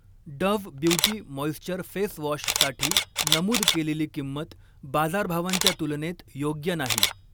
Dove beauty moisture face वॉशसाठी नमूद केलेली किंमत बाजारभावांच्या तुलनेत योग्य नाही.